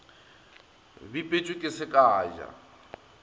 bipetšwe ke se ka ja